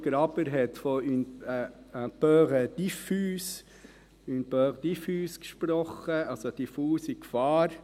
Graber hat von «une peur diffuse» gesprochen, also von einer diffusen Gefahr;